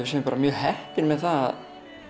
séum mjög heppin með það að